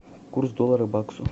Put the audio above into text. курс доллара к баксу